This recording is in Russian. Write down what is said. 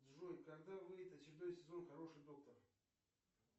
джой когда выйдет очередной сезон хороший доктор